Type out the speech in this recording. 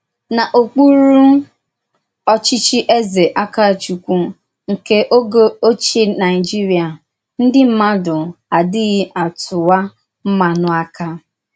N’okpùrù òchí̄chí̄ Ézè Àkàchùkwù nke ógè òchíè Naịjíríà, ndí mmádụ àdíghì àtụ̀wà mmánụ̀ àkà.